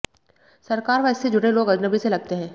सरकार व इससे जुड़े लोग अजनबी से लगते हैं